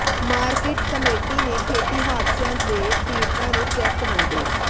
market committee ਨੇ ਖੇਤੀ ਹਾਦਸਿਆਂ ਦੇ ਪੀਡ਼ਤਾਂ ਨੂੰ ਚੈੱਕ ਵੰਡੇ